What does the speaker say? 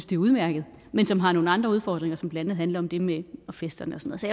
det er udmærket men som har nogle andre udfordringer som blandt andet handler om det med festerne